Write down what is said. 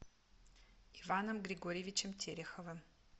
иваном григорьевичем тереховым